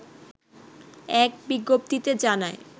এক বিজ্ঞপ্তিতে জানায়